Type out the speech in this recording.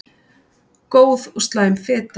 Góð og slæm fita